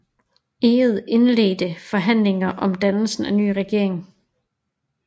Egede indledte forhandlinger om dannelse af en ny regering